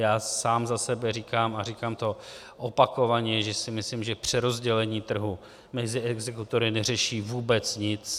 Já sám za sebe říkám, a říkám to opakovaně, že si myslím, že přerozdělení trhu mezi exekutory neřeší vůbec nic.